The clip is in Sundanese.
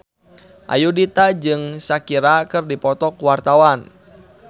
Ayudhita jeung Shakira keur dipoto ku wartawan